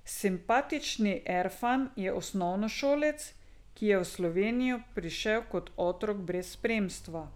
Simpatični Erfan je osnovnošolec, ki je v Slovenijo prišel kot otrok brez spremstva.